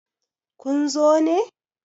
kun zo ne!